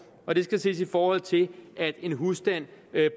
og det skal ses i forhold til at en husstand